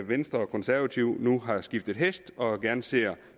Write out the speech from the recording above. venstre og konservative nu har skiftet hest og gerne ser